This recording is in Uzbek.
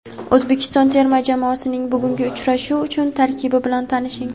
O‘zbekiston terma jamoasining bugungi uchrashuv uchun tarkibi bilan tanishing.